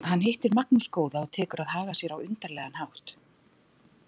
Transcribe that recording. Hann hittir Magnús góða og tekur að haga sér á undarlegan hátt.